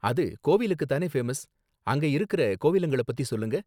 அது கோவிலுக்கு தானே ஃபேமஸ், அங்க இருக்குற கோவிலுங்கள பத்தி சொல்லுங்க